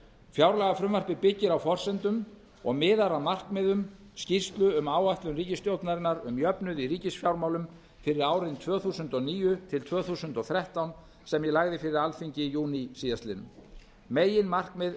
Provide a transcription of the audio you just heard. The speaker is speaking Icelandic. fjárlagafrumvarpið byggir á forsendum og miðar að markmiðum skýrslu um áætlun ríkisstjórnarinnar um jöfnuð í ríkisfjármálum fyrir árin tvö þúsund og níu til tvö þúsund og þrettán sem ég lagði fyrir alþingi í júní síðastliðinn meginmarkmið